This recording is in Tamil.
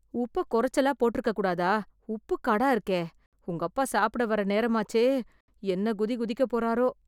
உப்பை கொறச்சலா போட்ருக்கக்கூடாதா... உப்புக்காடா இருக்கே... உங்கப்பா சாப்பிட வர்ற நேரமாச்சே, என்ன குதி குதிக்கப் போறாரோ...